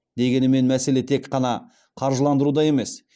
дегенмен мәселе тек қана қаржыландыруда емес